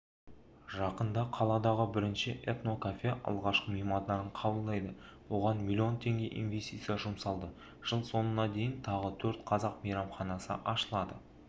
жақында қаладағы бірінші этнокафе алғашқы меймандарын қабылдайды оған миллион теңге инвестиция жұмсалды жыл соңына дейін тағы төрт қазақ мейрамханасы ашылады